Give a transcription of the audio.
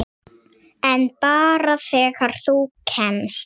En bara þegar þú kemst.